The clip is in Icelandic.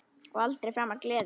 Og aldrei framar gleði.